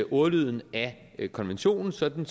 ordlyden af konventionen sådan